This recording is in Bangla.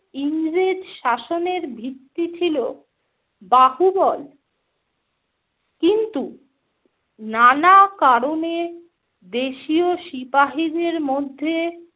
ইংরেজ শাসনের ভিত্তি ছিল বাহুবল, কিন্তু নানা কারণে দেশীয় সিপাহিদের মধ্যে